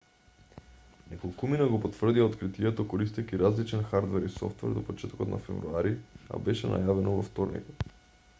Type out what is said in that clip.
неколкумина го потврдија откритието користејќи различен хадрвер и софтвер до почетокот на февруари а беше најавено во вторникот